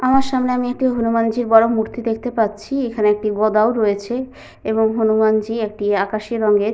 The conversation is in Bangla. আমার সামনে আমি একটি হনুমানজির বড় মূর্তি দেখতে পাচ্ছি। এখানে একটি গদাও রয়েছে এবং হনুমানজি একটি আকাশী রঙের --